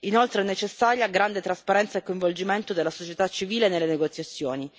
Inoltre, sono necessari grande trasparenza e coinvolgimento della società civile nelle negoziazioni.